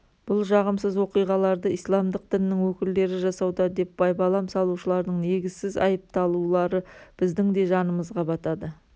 бұл жағымсыз оқиғаларды исламдық діннің өкілдері жасауда деп байбалам салушылардың негізсіз айыпталулары біздің де жанымызға батады